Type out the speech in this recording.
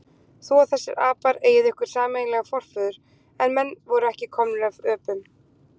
Þú og þessir apar eigið ykkur sameiginlegan forföður, en menn eru ekki komnir af öpum.